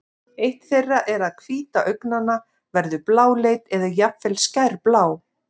eitt þeirra er að hvíta augnanna verður bláleit eða jafnvel skærblá